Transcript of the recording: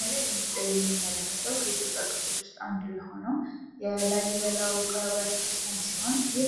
ከላይ በምስሉ ላይ የምንመለከተው ከኢትዮጵያ ቅርሶች ውስጥ አንዱ የሆነው የላሊበላ ውቅር አብያተክርስቲያን ሲሆን ይህ